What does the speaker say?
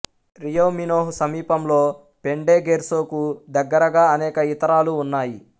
Rio Minho సమీపంలో పెన్డెగెర్సోకు దగ్గరగా అనేక ఇతరాలు ఉన్నాయి